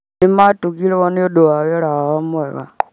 Nĩ matugirwo nĩ ũndũ wa wĩra wao mwega